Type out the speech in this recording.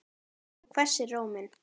Hún hvessir róminn.